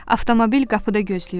Avtomobil qapıda gözləyir.